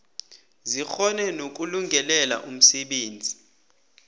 zikghone nokulungelela umsebenzi